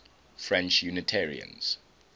french unitarians